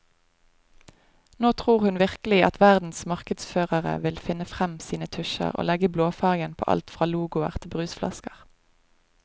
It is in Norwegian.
Nå tror hun virkelig at verdens markedsførere vil finne frem sine tusjer og legge blåfarven på alt fra logoer til brusflasker.